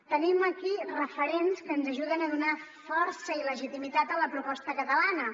tenim aquí referents que ens ajuden a donar força i legitimitat a la proposta catalana